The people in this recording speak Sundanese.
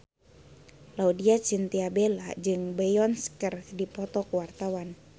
Laudya Chintya Bella jeung Beyonce keur dipoto ku wartawan